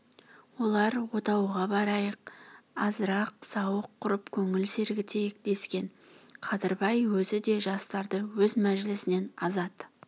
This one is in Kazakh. олар отауға барайық азырақ сауық құрып көңіл сергітейік дескен қадырбай өзі де жастарды өз мәжілісінен азат